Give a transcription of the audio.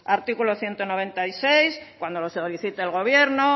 artículo ciento noventa y seis cuando lo solicite el gobierno